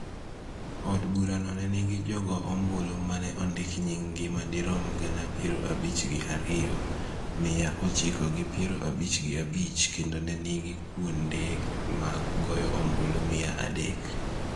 Od burano ne nigi jogo ombulu ma ne ondik nyinggi madirom gana piero abich gi ariyo, miya ochiko gi piero abich gi abich kendo ne nigi kuonde mag goyo ombulu mia gi adek.